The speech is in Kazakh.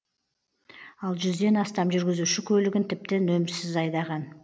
ал жүзден астам жүргізуші көлігін тіпті нөмірсіз айдаған